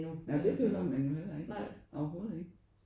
Nej men det behøver man jo ikke overhovedet ikke